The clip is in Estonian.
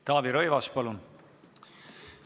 Taavi Rõivas, palun!